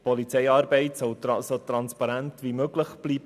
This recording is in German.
Die Polizeiarbeit soll so transparent wie möglich bleiben.